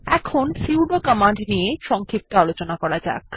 এখন sudo command নিয়ে সংক্ষিপ্ত আলোচনা করা যাক